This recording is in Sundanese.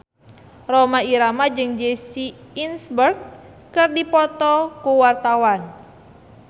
Rhoma Irama jeung Jesse Eisenberg keur dipoto ku wartawan